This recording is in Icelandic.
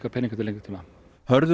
peninga til lengri tíma Hörður